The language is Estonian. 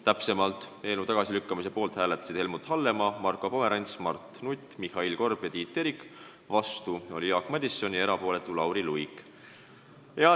Täpsemalt öeldes hääletasid eelnõu tagasilükkamise poolt Helmut Hallemaa, Marko Pomerants, Mart Nutt, Mihhail Korb ja Tiit Terik, vastu oli Jaak Madison ja erapooletuks jäi Lauri Luik.